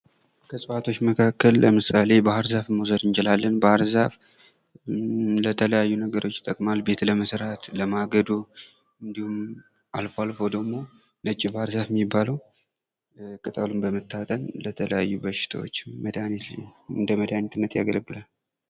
ከእጽዋቶች መካከል ለምሳሌ ባህር ዛፍን መዉሰድ እንችላለን ባህር ዛፍ ለተለያዩ ነገሮች ይጠቅማል። ቤት ለመስራት፣ ለማገዶ፣ እንዲሁም አልፎ አልፎ ደግሞ ነጭ ባህር ዛፍ የሚባለው ቅጠሉ ለተለያዩ በሽታዎች እንደመሃኒትነት ያገለግላል።